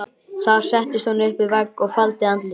Þar settist hún upp við vegg og faldi andlitið.